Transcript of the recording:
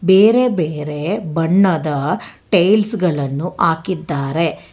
ಬೇರೆ ಬೇರೆ ಬಣ್ಣದ ಟೈಲ್ಸ್ ಗಳನ್ನು ಹಾಕಿದ್ದಾರೆ.